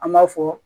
An b'a fɔ